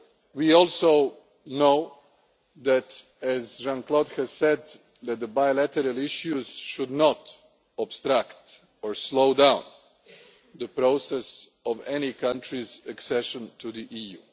We also know that, as Jean Claude has said, the bilateral issues should not obstruct or slow down the process of any country's accession to the EU.